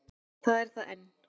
Það er það enn.